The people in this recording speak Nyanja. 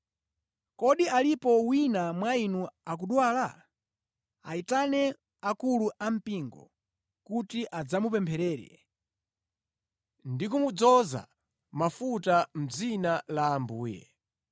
Kodi alipo wina mwa inu akudwala? Ayitane akulu ampingo kuti adzamupempherere ndi kumudzoza mafuta mʼdzina la Ambuye.